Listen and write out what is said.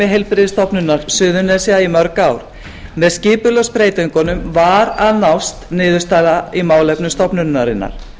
heilbrigðisstofnunar suðurnesja í mörg ár með skipulagsbreytingunum var að nást niðurstaða í málefnum stofnunarinnar